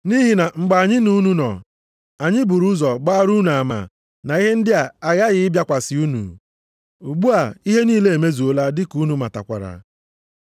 Nʼihi na mgbe anyị na unu nọ, anyị buru ụzọ gbaara unu ama na ihe ndị a aghaghị ịbịakwasị unu. Ugbu a, ihe niile emezuola dị ka unu matakwara.